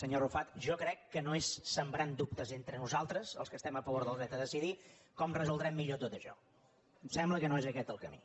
senyor arrufat jo crec que no és sembrant dubtes entre nosaltres els que estem a favor del dret a decidir com resoldrem millor tot això em sembla que no és aquest el camí